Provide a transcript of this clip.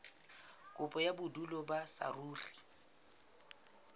kopo ya bodulo ba saruri